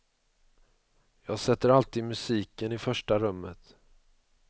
Jag sätter alltid musiken i första rummet.